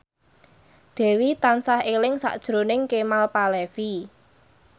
Dewi tansah eling sakjroning Kemal Palevi